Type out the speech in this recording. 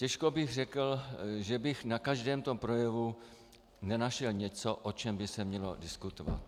Těžko bych řekl, že bych na každém tom projevu nenašel něco, o čem by se mělo diskutovat.